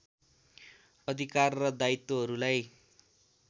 अधिकार र दायित्वहरूलाई